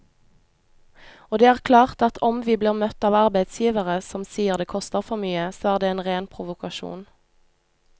Og det er klart at om vi blir møtt av arbeidsgivere som sier det koster for mye, så er det en ren provokasjon.